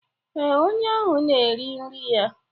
ee, onye ahụ na-eri nri ya.